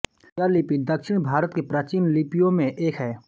यह लिपि दक्षिण भारत की प्राचीन लिपियों में एक है